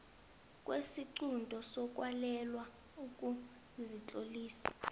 kwesiqunto sokwalelwa ukuzitlolisa